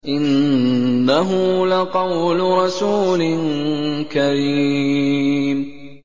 إِنَّهُ لَقَوْلُ رَسُولٍ كَرِيمٍ